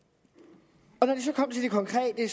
konkrete